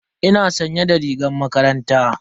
Ina sanye da rigar makaranta.